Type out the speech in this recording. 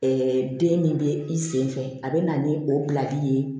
den min bɛ i sen fɛ a bɛ na ni o bilali ye